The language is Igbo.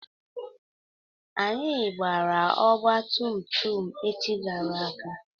Anyị gbara ọgba tum tum echi gara aga.